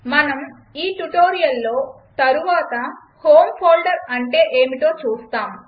మనం ఈ ట్యుటోరియల్లో తరువాత హోమ్ ఫోల్డర్ అంటే ఏమిటో చూస్తాం